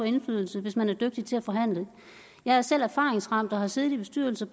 indflydelse hvis man er dygtig til at forhandle jeg er selv erfaringsramt og har siddet i bestyrelser